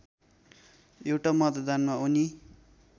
एउटा मतदानमा उनी